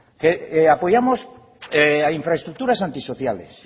apoyamos a infraestructuras antisociales